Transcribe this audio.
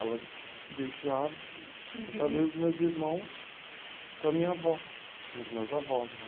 Ela deixava, deixava eu e os meus irmãos com a minha avó, com os meus avós, né?